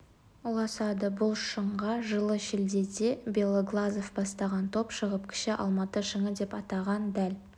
ұласады бұл шыңға жылы шілдеде белоглазов бастаған топ шығып кіші алматы шыңы деп атаған дәл